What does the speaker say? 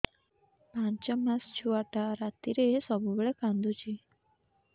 ପାଞ୍ଚ ମାସ ଛୁଆଟା ରାତିରେ ସବୁବେଳେ କାନ୍ଦୁଚି